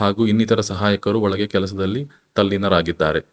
ಹಾಗು ಇನ್ನಿತರ ಸಹಾಯಕರು ಒಳಗೆ ಕೆಲಸದಲ್ಲಿ ತಲ್ಲಿನ ರಾಗಿದ್ದಾರೆ.